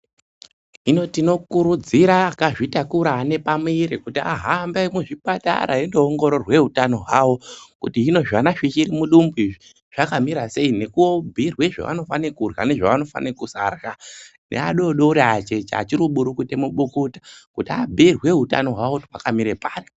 Hino tinokurudzira akazvitakura ane pamuvuri kuti ahambe muzvipatara eindoongororwa hutano hwavo kuti zvana zvichiri mudumbu umu zvakamira sei nekubhuirwa zvavanofana kurya nezvavasingafani kurya .Nevadodori acheche achiri kumurukuta mumadota kuti abhiirwe hutano hwavo kuti hwakamira papi.